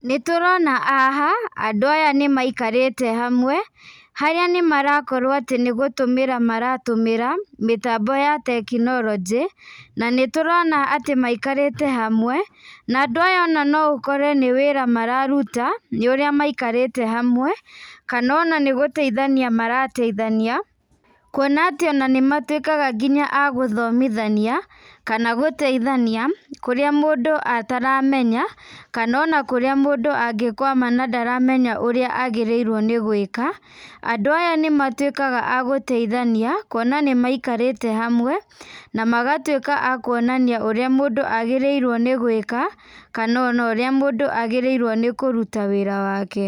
Nĩ tũrona haha andũ aya nĩ maikarĩte hamwe, harĩa nĩ marakorwo atĩ nĩ gũtũmĩra maratũmĩra, mĩtambo ya tekinoronjĩ, na nĩ tũrona atĩ maikarĩte hamwe, na andũ aya ona no ũkore nĩ wĩra mararuta, nĩ ũrĩa maikarĩte hamwe, kana ona nĩ gũteithania marateithania, kuona atĩ ona nĩ matuĩkaga nginya agũthomithania, kana gũteithania kũrĩa mũndũ ataramenya, kana ona kũrĩa mũndũ angĩkwama na ndaramenya ũrĩa agĩrĩirwo nĩ gwĩka, andũ aya nĩ matuĩkaga agũteithania, kwona atĩ nĩ maikarĩte hamwe na magatuĩka a kuonania ũrĩa mũndũ agĩrĩirwo nĩ gwĩka, kana ona ũrĩa mũndũ agĩrĩirwo nĩ kũruta wĩra wake.